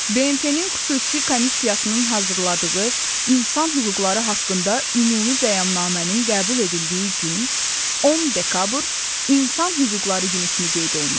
BMT-nin xüsusi komissiyasının hazırladığı İnsan Hüquqları haqqında ümumi Bəyannamənin qəbul edildiyi gün, 10 dekabr, İnsan Hüquqları Günü kimi qeyd olunur.